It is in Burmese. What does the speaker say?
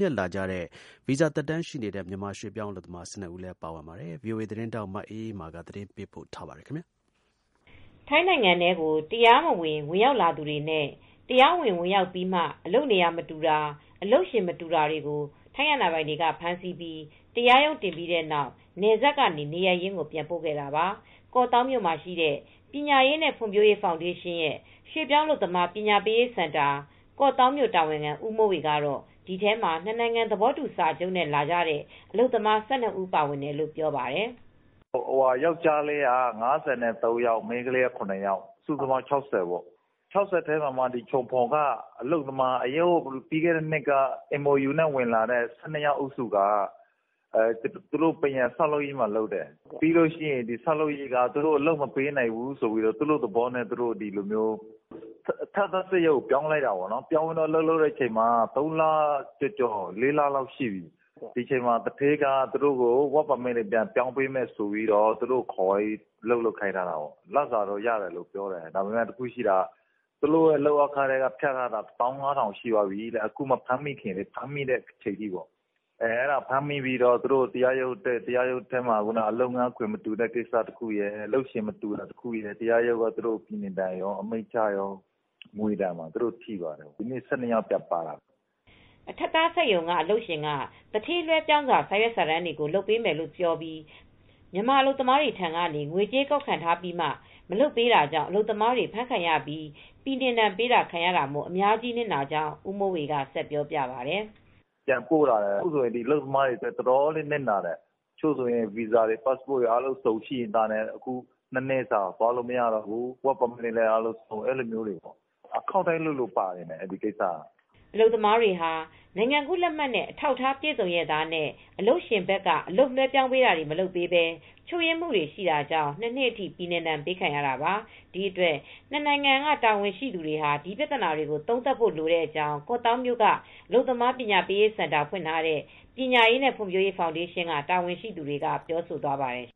နဲ့ လာတဲ့ ဗီဇာသက်တမ်းရှိနေတဲ့ မြန်မာရွှေ့ပြောင်းအလုပ်သမား ၁၂ဦးလည်းပါဝင်ပါတယ်။ ဗွီအိုအေသတင်းထောက် မအေးအေးမာက သတင်းပေးပို့ ထားပါတယ် ထိုင်းနိုင်ငံထဲကို တရားမဝင် ဝင်ရောက်လာတဲ့သူတွေနဲ့ တရားဝင်လာပြီးမှာ အလုပ်နေရာမတူတာ၊ အလုပ်ရှင်မတူတာတွေကို ထိုင်းအာဏာပိုင်ဖမ်းဆီးပြီးတရားရုံးတင်ပြီးတဲ့နောက် နယ်စပ်ကနေ နေရပ်ရင်းကိုပြန်ပို့ခဲ့တာပါ။ ကော့သောင်းမှာရှိတဲ့ ပညာရေးနဲ့ ဖွံဖြိုးရေးဖောင်ဒေးရှင်း ရွှေ့ပြောင်း အလုပ်သမား ပညာပေးစင်တာ ကောင့်သောင်းမြို့တာဝန်ခံ ဦးမိုးဝေက တော့ ဒီထဲမှာ နှစ်နိုင်ငံ သဘာတူစာချုပ်နဲ့ လာတဲ့အလုပ်သမား ၁၂ဦးပါဝင်တယ်လို့ ပြောပါတယ်။ “ယောက်ကျားလေးက ၅၃ယောက် ၊မိန်းကလေးက ၇ ယောက်ပါတယ် စုစုပေါင်း ၆၀ပေါ့ ဒီ ၆၀ထဲမှာ မှချုံဖွန်က အလုပ်သမားတွေ ပြီးခဲ့တဲ့နှစ်က ဝင်လာတဲ့ MOU လုပ်သမား ၁၂ဦးဟာ ပန်းရံလုပ်တယ်။ အဲဒီဆောက်လုပ်ရေးက အလုပ်မပေးနိုင်ဘူးဆိုပြီး သူတို့သဘောနဲ့ သူတို့ အထပ်သားစက်ရုံပြောင်းလိုက်တယ်။ အလုပ်လုပ်တာ ၃ လကျော် ၄လ အထိအလုပ်လုပ်တာ ဒီအချိန်မှာ သူဌေးကအလုပ်သမား လက်မှတ်တွေပြောင်းပေးဆိုပြီး ခေါ်သွားပြီး အလုပ်လုပ်ခိုင်းထားတာ ပိုက်ဆံတော့ရတယ်ပြောတယ်။ ဒါပေမဲ့သူတို့လုပ်အားခထဲက ဖြတ်ထားတာ ၁၅၀၀၀ လောက်ရှိပြီတဲ့။ အခုဖမ်းမိတဲ့အချိန်ထိပေါ့။ ဖမ်းမိတော့ တရားရုံးတက်ရတယ် အလုပ်ရှင် မတူတာရယ် လုပ်ငန်းခွင်မတူတာရယ်နဲ့ သူတို့ကို တရားရုံးက အမိန်ချတော့ ငွေဒဏ်ကော ပြည်နှင်ဒဏ်ကော ထိသွားတယ် ဒီနေ့ ၁၂ယောက်ပါလာတယ်” အထပ်သားစက်ရုံကအလုပ်ရှင်က သူဌေးလွဲပြောင်းစာရွက်စာတမ်းတွေကို လုပ်ပေးမယ်ဆိုပြီး မြန်မာအလုပ်သမားများထံကနေ ငွေကြေးကောက်ခံထားပြီးမှ မလုပ်ပေးတာကြောင့် အလုပ်သမားတွေ ဖမ်းခံရပြီး ပြည်နှင်ဒဏ်ပေးခံရတာမို့ အများကြီးနစ်နာကြောင်း ဦးမိုးဝေကပြောပြပါတယ်။ “အလုပ်သမားတွေအများကြီးနစ်နာတယ် တချို့ဗီဇာတွေ ပတ်စပို့ တွေရှိလျက်သားနဲ့အခု ၂နှစ်သွားလို့ မရတော့ဘူး အလုပ်သမားလက်မှတ်တွေလည်းဆုံးရှုံးတယ်။ အခုက အခေါက်တိုင်းလိုလိုပါတယ်။” အလုပ်သမားတွေဟာ နိုင်ငံကူးလက်မှတ်နဲ့ အထောက်အထားပြည်စုံရဲ့သားနဲ့ အလုပ်ရှင်ဘက်က အလုပ်လွဲပြောင်းတာတွေ မလုပ်ပေးပဲ ချို့ယွင်းမူတွေရှိတာကြောင့် ၂နှစ်အထိ ပြည်နှင်ဒဏ်ပေးခံရတာပါ။ ဒီအတွက်နှစ်နိုင်ငံတာဝန်ရှိသူတွေ ဒီပြဿနာတွေ သုံးသပ်ဖို့ လိုကြောင်း ကော့သောင်းမြို့မှာ အလုပ်သမားပညာရေးစင်တာ ဖွင့်ထားတဲ့ ပညာရေးနဲ့ဖွံဖြိုးရေးဖောင်ဒေးရှင်းက တာဝန်ရှိသူတွေက ပြောဆိုသွားပါတယ်